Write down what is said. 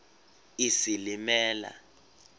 isilimela